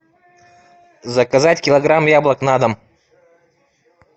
заказать килограмм яблок на дом